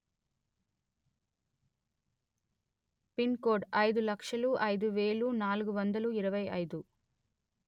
pin code అయిదు లక్షలు అయిదు వెలు నాలుగు వందలు ఇరవై అయిదు